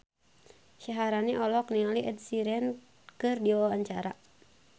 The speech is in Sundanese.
Syaharani olohok ningali Ed Sheeran keur diwawancara